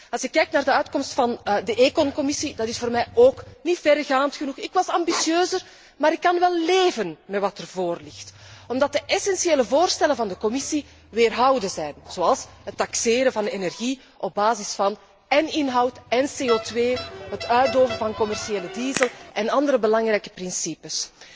Als ik kijk naar de uitkomst in de Commissie ECON, die is voor mij ook niet verregaand genoeg. Ik was ambitieuzer, maar ik kan wel leven met wat er nu voorligt, omdat de essentiële voorstellen van de Commissie weerhouden zijn, zoals het taxeren van de energie op basis van én inhoud én CO2, het uitdoven van commerciële diesel en andere belangrijke principes.